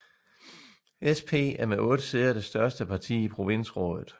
SP er med 8 sæder det største parti i provinsrådet